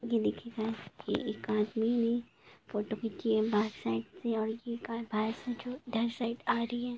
यह देखिये एक आदमी ने फोटो खींची है बहार साइड से आ रही है।